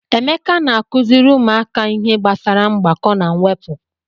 Emeka na-akụziri ụmụaka ihe gbasara mgbakọ na mwepụ.